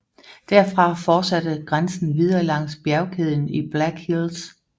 Derfra forsatte grænsen videre langs bjergkæden i Black Hills